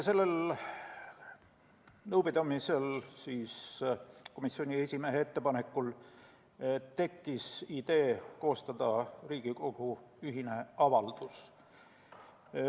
Sellel nõupidamisel otsustati komisjoni esimehe ettepanekul koostada Riigikogu ühine avaldus.